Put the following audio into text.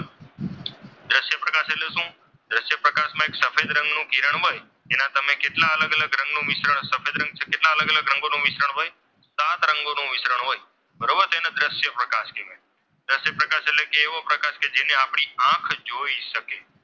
એક સફેદ રંગનું કિરણ હોય એનું તમે કેટલા અલગ અલગ રંગનું મિશ્રણ સફેદ રંગથી કરી કેટલા અલગ અલગ રંગોનું મિશ્રણ હોય સાત રંગોનું મિશ્રણ હોય બરોબર તેને દ્રશ્ય પ્રકાશ કહે છે. દ્રશ્ય પ્રકાશ એટલે એવો પ્રકાશ કે જેને આપણી આંખ જોઈ શકે.